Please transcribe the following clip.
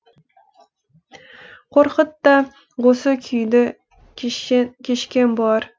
қорқыт та осы күйді кешкен болар